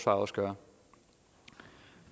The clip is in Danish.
også gøre vi